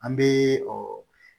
An bɛ